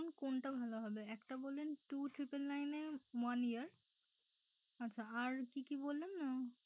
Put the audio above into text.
এখন কোনটা ভালো হবে একটা বললেন two triple nine one year আচ্ছা আর কি কি বললেন?